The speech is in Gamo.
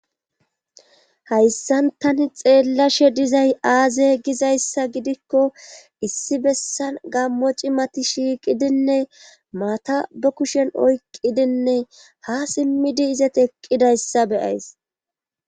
Hayssan tani xeellashe dizay aaze gizayssa gidikko issi bessan gammo ciimati shiiqidinne maata ba kushen oyqqidinne ha simmidi izati eqqidayssa be'ays